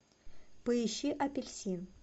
поищи апельсин